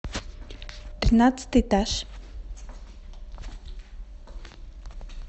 тринадцатый этаж